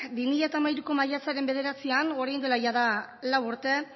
bi mila hamairuko maiatzaren bederatzian orain dela jada lau urte